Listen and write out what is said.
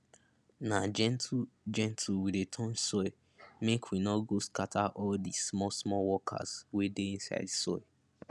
na gentle gentle we dey turn soil mek we no go scatter all di smallsmall workers wey dey inside soil